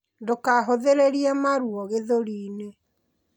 Ndukahuthiririe maruo gĩthũri-ini